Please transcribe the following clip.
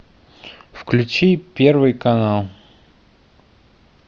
включи первый канал